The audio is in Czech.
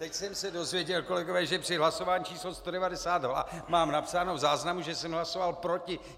Teď jsem se dozvěděl, kolegové, že při hlasování číslo 192 mám napsáno v záznamu, že jsem hlasoval proti!